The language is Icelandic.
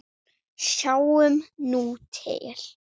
Sjáum nú til?